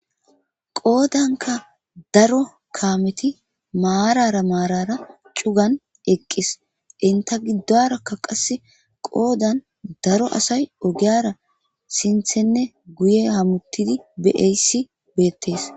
qoodanka daro kaameti maarara maarara cugan eqqis inta giddorakka qasse qoodan daro asay ogiyara sinthenne guye hamuttidi beaysi beettees